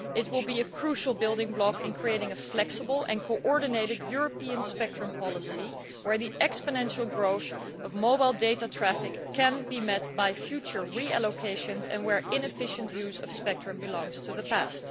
It will be a crucial building block in creating a flexible and coordinated European spectrum policy where the exponential growth of mobile data traffic can be met by future reallocations and where inefficient use of spectrum belongs to the past.